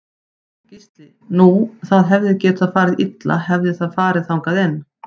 Gísli: Nú það hefði getað farið illa hefði það farið þangað inn?